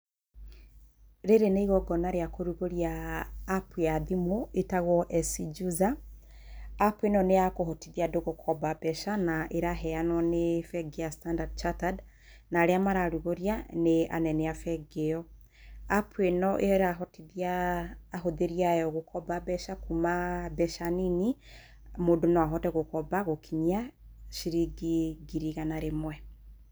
Rĩrĩ nĩ igongona rĩa kũrugũria App ya thimũ ĩtagwo SC Juza. App ĩno nĩ ya kũhotothia andũ gũkomba mbecana ĩraheanwo nĩ bengi ya Standard Chattered na arĩa mararugũria nĩ anene a bengi ĩyo. ‎ App ĩno ĩrahotithia ahũthĩri ayo gũkomba mbeca kuma mbeca nini mũndũ no ahote gũkomba gũkinyia ciringi ngiri igana rĩmwe.